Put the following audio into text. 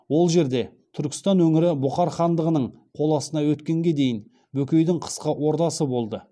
ол жерде түркістан өңірі бұхар хандығының қол астына өткенге дейін бөкейдің қысқы ордасы болды